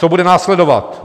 Co bude následovat?